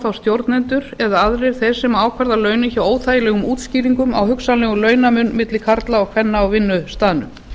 þá stjórnendur eða aðrir þeir sem ákvarða launin hjá óþægilegum útskýringum á hugsanlegum launamun milli karla og kvenna á vinnustaðnum